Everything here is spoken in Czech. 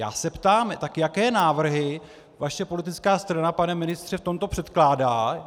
Já se ptám: tak jaké návrhy vaše politická strana, pane ministře, v tomto předkládá?